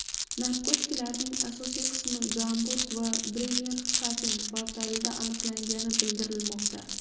Narkotiklarning asosiy qismi Gamburg va Bremerxafen portlarida aniqlangani bildirilmoqda.